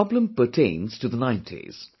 This problem pertains to the 90s